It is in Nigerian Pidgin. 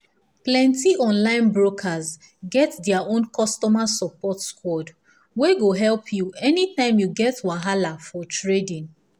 plenty online brokers get their own customer support squad wey go help you anytime you get wahala for trading